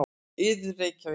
Iðunn, Reykjavík.